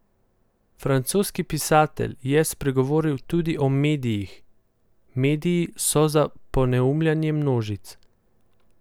Francoski pisatelj je spregovoril tudi o medijih: 'Mediji so za poneumljanje množic.